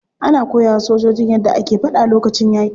Ana koyawa sojojin yadda ake fada lokacin yaki.